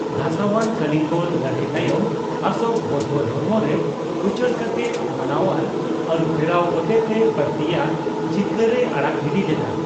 ᱫᱷᱟᱥᱟᱣᱟᱱ ᱠᱚᱞᱤᱝᱜᱚ ᱞᱟᱹᱲᱦᱟᱹᱭ ᱛᱟᱭᱚᱢ ᱚᱥᱳᱠ ᱵᱳᱣᱫᱽᱫᱷᱚ ᱫᱷᱚᱨᱚᱢ ᱨᱮ ᱩᱪᱟᱹᱲ ᱠᱟᱛᱮ ᱢᱟᱱᱣᱟᱱ ᱟᱹᱨᱩᱯᱷᱮᱨᱟᱣ ᱦᱚᱛᱮᱛᱮ ᱵᱟᱹᱲᱛᱤᱭᱟᱜ ᱡᱤᱛᱠᱟᱹᱨᱮ ᱟᱲᱟᱜ ᱜᱤᱰᱤ ᱞᱮᱫᱟ ᱾